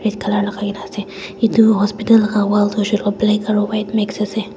colour lakai kaena ase edu hospital la wall tu hoishey koilae black aro white mix ase.